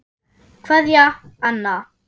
Kveðja, Anna.